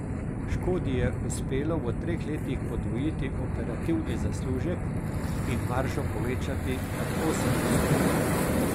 Škodi je uspelo v treh letih podvojiti operativni zaslužek in maržo povečati nad osem odstotkov.